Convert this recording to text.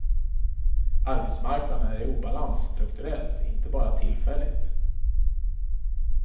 Arbetsmarknaden är i obalans strukturellt, inte bara tillfälligt.